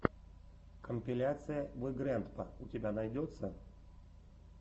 компиляция вигрэндпа у тебя найдется